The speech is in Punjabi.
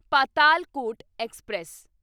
ਪਾਤਾਲਕੋਟ ਐਕਸਪ੍ਰੈਸ